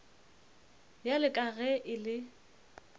bjalo ka ge e le